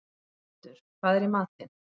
Sandur, hvað er í matinn?